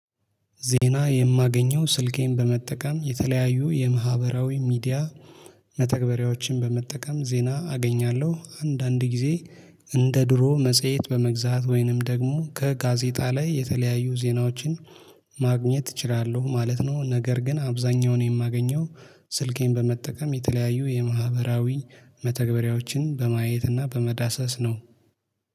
ዜና የማገኘው ስልኬን በመጠቀም የተለያዩ የማህበራዊ ሚዲያ መተግበሪያዎችን በመጠቀም ዜና አገኛለሁ አንዳንድ ጊዜ እንደ ድሮ መጽሄት በመግዛት ወይንም ደግሞ ከጋዜጣ ላይ የተለያዩ ዜናዎችን ማግኘት እችላለሁ ማለት ነው። ነገር ግን አብዛኛውን የማገኘው ስልኬን በመጠቀም የተለያዩ የማህበራዊ መተግበሪያዎችን በማየት እና በመዳሰስ ነው